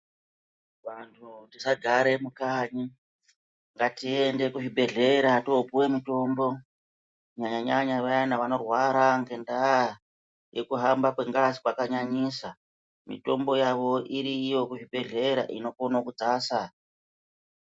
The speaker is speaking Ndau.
Vanhu tisa gare mukanyi ngatiende ku zvibhedhlera topuwe mutombo kunyanyanya vaya vanorwara nge nda yekuhamba kwe ngazi kwakanyanyisa mitombo yavo iriyo ku zvibhedhlera inokona kudzasa.